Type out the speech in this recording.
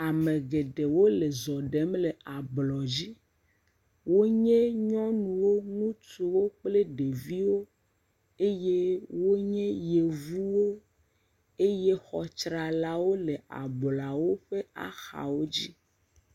Ame geɖewo le zɔ ɖem le ablɔdzi. wonye nyɔnuwo, ŋutsuwo kple ɖeviwo eye wonye Yevuwo. Eye xɔ tsralawo le ablɔawo ƒe axawo dzi.